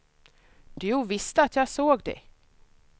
Du visste att jag såg dig.